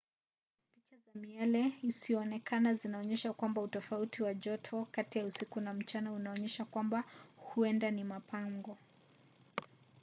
picha za miale isiyoonekana zinaonyesha kwamba utofauti wa joto kati ya usiku na mchana unaonyesha kwamba huenda ni mapango